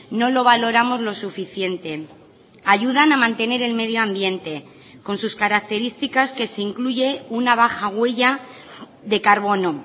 no lo valoramos lo suficiente ayudan a mantener el medio ambiente con sus características que se incluye una baja huella de carbono